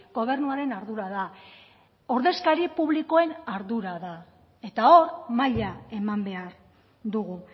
gobernuaren ardura da ordezkari publikoen ardura da eta hor maila eman behar dugu